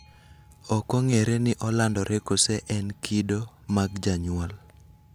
Okong'ere ni olandore koso en kido mag jonyuol